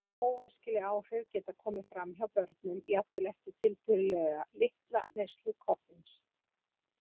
Óæskileg áhrif geta komið fram hjá börnum jafnvel eftir tiltölulega litla neyslu koffíns.